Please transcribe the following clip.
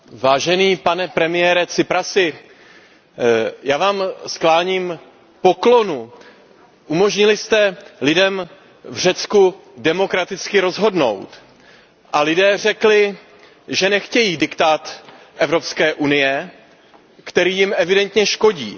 Vážený pane premiére Tsiprasi, já vám skláním poklonu, umožnili jste lidem v Řecku demokraticky rozhodnout a lidé řekli, že nechtějí diktát Evropské unie, který jim evidentně škodí.